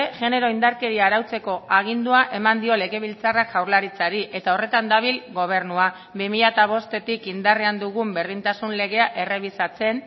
genero indarkeria arautzeko agindua eman dio legebiltzarrak jaurlaritzari eta horretan dabil gobernua bi mila bostetik indarrean dugun berdintasun legea errebisatzen